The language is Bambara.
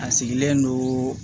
A sigilen don